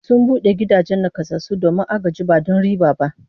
Sun bude gidan nakasassu domin agaji ba don riba ba